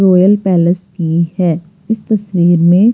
royal palace की है इस तस्वीर में--